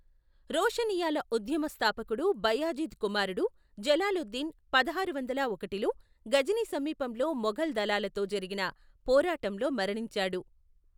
రోషనియ్యాల ఉద్యమ స్థాపకుడు బయాజిద్ కుమారుడు జలాలుద్దీన్ పదహారు వందల ఒకటిలో గజనీ సమీపంలో మొఘల్ దళాలతో జరిగిన పోరాటంలో మరణించాడు.